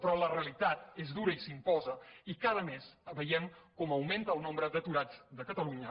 però la realitat és dura i s’imposa i cada mes veiem com augmenta el nombre d’aturats de catalunya